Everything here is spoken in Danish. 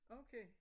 Okay